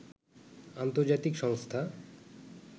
আন্তর্জাতিক সংস্থা